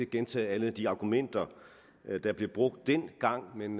gentage alle de argumenter der blev brugt dengang men